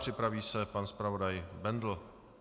Připraví se pan zpravodaj Bendl.